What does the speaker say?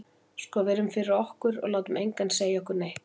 Sko við erum fyrir okkur, og látum engan segja okkur neitt.